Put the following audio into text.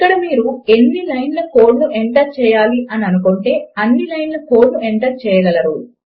ఇక్కడ మీరు ఎన్ని లైన్ల కోడ్ ను ఎంటర్ చేయాలి అని అనుకుంటే అన్ని లైన్ల కోడ్ ను ఎంటర్ చేయగలరు